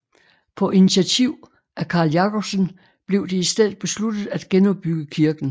På initiativ af Carl Jacobsen blev det i stedet besluttet at genopbygge kirken